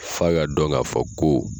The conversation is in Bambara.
F'a ka dɔn k'a fɔ ko